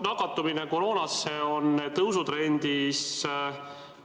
Nakatumine koroonasse on tõusutrendis.